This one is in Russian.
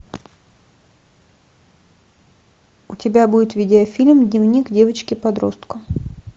у тебя будет видеофильм дневник девочки подростка